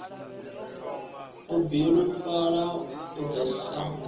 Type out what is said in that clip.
u bilufhala u ḓo sa